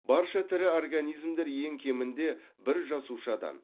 барша тірі организмдер ең кемінде бір жасушадан